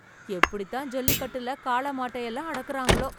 எப்படி தான் ஜல்லிக்கட்டுல காளை மாட்ட எல்லாம் அடக்குறாங்களோ ?